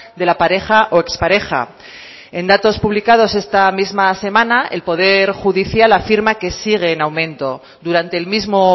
de la pareja o expareja en datos publicados esta misma semana el poder judicial afirma que sigue en aumento durante el mismo